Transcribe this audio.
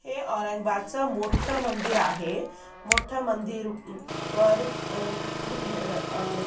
हे औरंगाबाद चा मोठ मंदिर आहे मोठ मंदिर वर अ हे अ म--